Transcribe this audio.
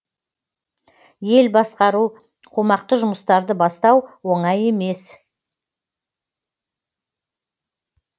ел басқару қомақты жұмыстарды бастау оңай емес